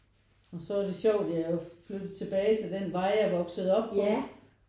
Og så er det sjovt jeg er jo flyttet tilbage til den vej jeg er vokset op på